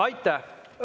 Aitäh!